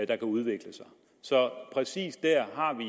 kan udvikle sig så præcis dér har vi